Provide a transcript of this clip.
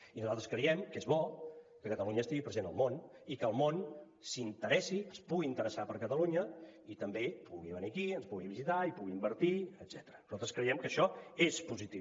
i nosaltres creiem que és bo que catalunya estigui present al món i que el món s’interessi es pugui interessar per catalunya i també pugui venir aquí ens pugui visitar i pugui invertir etcètera nosaltres creiem que això és positiu